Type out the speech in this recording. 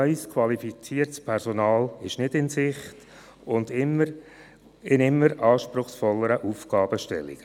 neues qualifiziertes Personal ist nicht in Sicht – und dies in immer anspruchsvolleren Aufgabenstellungen.